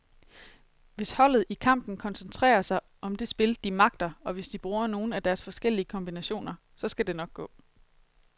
Hvis holdet i kampen koncentrerer sig om det spil, de magter, og hvis de bruger nogle af deres forskellige kombinationer, så skal det nok gå.